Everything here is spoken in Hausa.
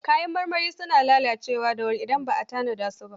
Kayan marmari suna lalacewa da wuri idan ba a tanada su ba.